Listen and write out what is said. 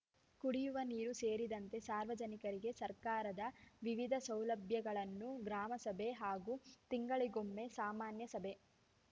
ಕುಡಿಯುವ ನೀರು ಸೇರಿದಂತೆ ಸಾರ್ವಜನಿಕರಿಗೆ ಸರ್ಕಾರದ ವಿವಿಧ ಸೌಲಭ್ಯಗಳನ್ನು ಗ್ರಾಮಸಭೆ ಹಾಗೂ ತಿಂಗಳಿಗೊಮ್ಮೆ ಸಾಮಾನ್ಯ ಸಭೆ